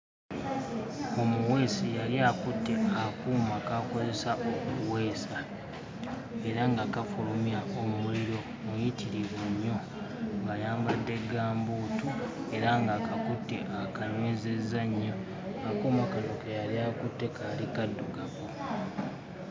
Omuweesi yali akutte akuuma k'akozesa okuweesa era nga kafulumya omuliro muyitirivu nnyo ng'ayambadde gambuutu era nga akakutte akanywezezza nnyo akuuma kano ke yali akutte kaali kaddugavu.